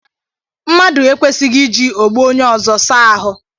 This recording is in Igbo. Mmadụ ekwesighi iji ogbo onye ọzọ saa ahụ.